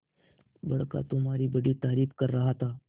बड़का तुम्हारी बड़ी तारीफ कर रहा था